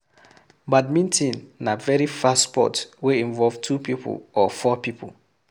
Badminton na very fast sport wey involve two pipo or four pipo